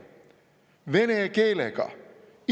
Vene keelega!